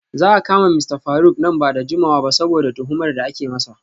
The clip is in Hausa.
Za a kama Mista Faruk nan ba da jimawa ba saboda tuhumar da ake masa.